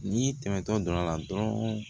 N'i tɛmɛtɔ dɔ la dɔrɔn